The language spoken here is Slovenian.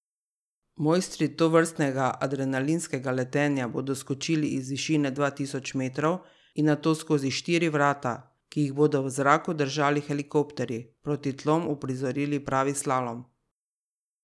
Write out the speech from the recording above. Mojstri tovrstnega adrenalinskega letenja bodo skočili iz višine dva tisoč metrov in nato skozi štiri vrata, ki jih bodo v zraku držali helikopterji, proti tlom uprizorili pravi slalom.